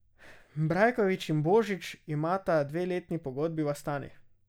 Brajkovič in Božič imata dveletni pogodbi v Astani.